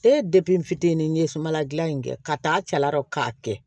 E de fitinin ye sumala gilan in kɛ ka t'a cɛla k'a kɛ